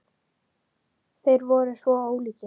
Þeir voru svo ólíkir.